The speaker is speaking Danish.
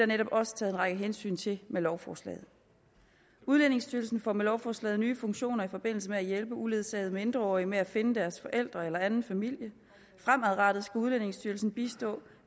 netop også taget meget hensyn til med lovforslaget udlændingestyrelsen får med lovforslaget nye funktioner i forbindelse med at hjælpe uledsagede mindreårige med at finde deres forældre eller anden familie fremadrettet skal udlændingestyrelsen bistå